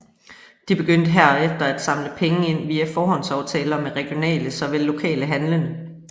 De begyndte herefter at samle penge ind via forhåndsaftaler med regionale såvel lokale handlende